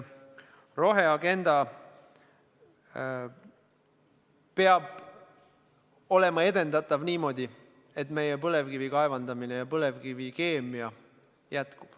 Roheagenda peab olema edendatav niimoodi, et meie põlevkivi kaevandamine ja põlevkivikeemia jätkub.